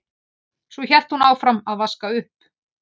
Svo hélt hún áfram að vaska upp.